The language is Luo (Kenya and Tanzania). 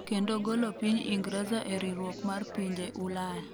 kendo golo piny Ingreza e riwruok mar pinje Ulaya